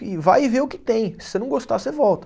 E vai e vê o que tem, se você não gostar, você volta.